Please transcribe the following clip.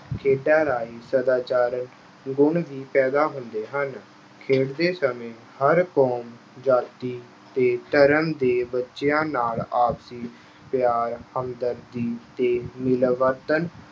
ਖੇਡਾਂ ਰਾਹੀਂ ਸਦਾਚਾਰ ਗੁਣ ਵੀ ਪੈਦਾ ਹੁੰਦੇ ਹਨ। ਖੇਡਦੇ ਸਮੇਂ ਹਰ ਕੌਮ, ਜਾਤੀ ਤੇ ਧਰਮ ਦੇ ਬੱਚਿਆਂ ਨਾਲ ਆਪਸੀ ਪਿਆਰ, ਹਮਦਰਦੀ ਤੇ ਮਿਲਵਰਤਣ